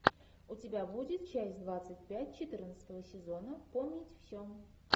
у тебя будет часть двадцать пять четырнадцатого сезона вспомнить все